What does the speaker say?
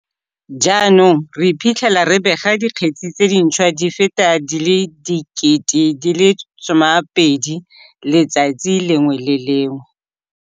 Jaanong re iphitlhela re bega dikgetse tse dintšhwa di feta di le 12 000 letsatsi le lengwe le le lengwe.